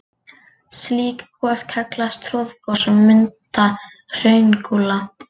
Slík gos kallast troðgos og mynda hraungúla.